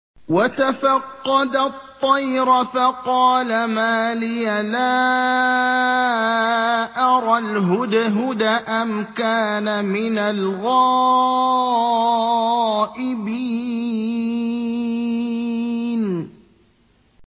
وَتَفَقَّدَ الطَّيْرَ فَقَالَ مَا لِيَ لَا أَرَى الْهُدْهُدَ أَمْ كَانَ مِنَ الْغَائِبِينَ